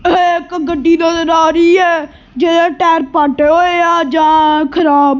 ਇਹ ਇੱਕ ਗੱਡੀ ਨਜ਼ਰ ਆ ਰਹੀ ਹੈ ਜਿਹਦੇ ਟਾਇਰ ਪਾਟੇ ਹੋਏ ਆ ਜਾਂ ਖਰਾਬ--